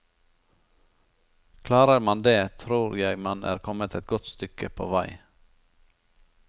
Klarer man det, tror jeg man er kommet et godt stykke på vei.